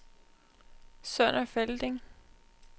Sønder Felding